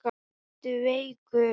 Ertu veikur?